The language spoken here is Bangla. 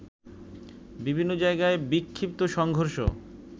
বিভিন্ন জায়গায় বিক্ষিপ্ত সংঘর্ষ